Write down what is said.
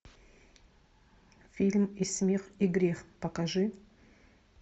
фильм и смех и грех покажи